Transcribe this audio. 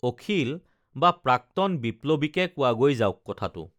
অখিল বা প্ৰাক্তন বিপ্লৱীকে কোৱাগৈ যাওক কথাটো